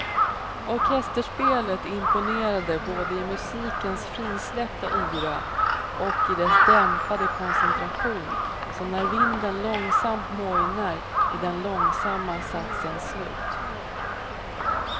Orkesterspelet imponerade både i musikens frisläppta yra och i dess dämpade koncentration, som när vinden långsamt mojnar i den långsamma satsens slut.